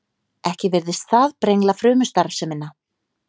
Ekki virðist það brengla frumustarfsemina.